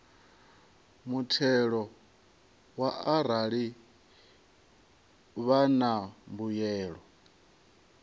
muthelo arali vha na mbuyelo